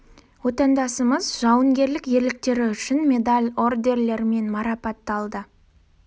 отандасымыз жауынгерлік ерліктері үшін медаль-ордендермен марапатталды